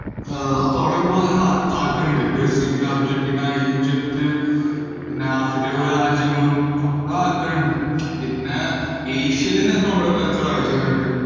ഏർ അപ്പോ അവിടെയൊക്കെ പോവാൻ നല്ല താ~ താല്പര്യണ്ട്. ബ്രസീലിൽ, അർജന്റീന, ഈജിപ്ത് പിന്ന ആഫ്രിക്കയിലെ കൊറേ രാജ്യങ്ങളും ഒക്കെ താല്പര്യണ്ട്, പിന്ന ഏഷ്യയേലെന്നെ ഇപ്പോ നമ്മളിപ്പോ എത്ര രാജ്യങ്ങളിണ്ട്.